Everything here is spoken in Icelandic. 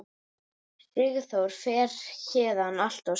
Sigþór fer héðan alltof snemma.